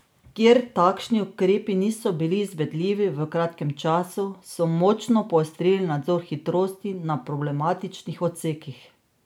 Kjer takšni ukrepi niso bili izvedljivi v kratkem času, so močno poostrili nadzor hitrosti na problematičnih odsekih.